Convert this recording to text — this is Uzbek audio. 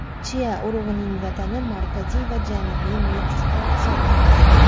Chia urug‘ining vatani Markaziy va Janubiy Meksika hisoblanadi.